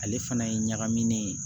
Ale fana ye ɲagaminnen ye